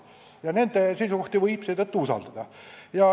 Ja nende seisukohti võib seetõttu usaldada.